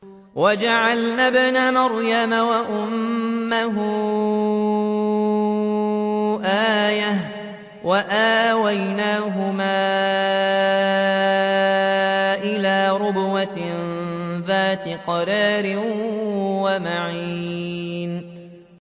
وَجَعَلْنَا ابْنَ مَرْيَمَ وَأُمَّهُ آيَةً وَآوَيْنَاهُمَا إِلَىٰ رَبْوَةٍ ذَاتِ قَرَارٍ وَمَعِينٍ